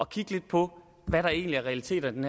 kigge lidt på hvad der egentlig er realiteterne